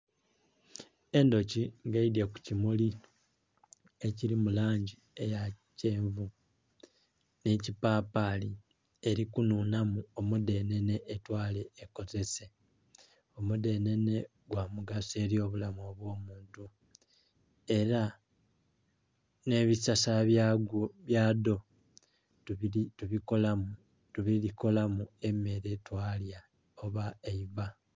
Endhuki nga eidye kukimuli kili mulangi eya kyenvu nhe kipapali elikunhunha mu omudhenhenhe etwale ekozese, omudhenhenhe gwa mugaso eli obulamu obwo muntu era nhe bisasala byadho tubikolamu emere twala oba eiva.